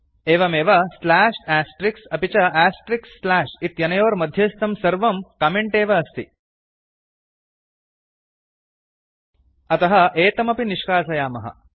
एवमेव slash asterisks अपि च आस्ट्रिक्स् स्लाश् इत्यनयोर्मध्यस्थं सर्वं कमेंट् एव अस्ति अतः एतमपि निष्कासयामः